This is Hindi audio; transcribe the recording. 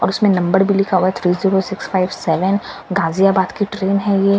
और उसमें नंबर भी लिखा हुआ है three zero six five seven Ghaziabad की ट्रेन है ये--